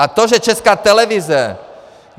A to, že Česká televize...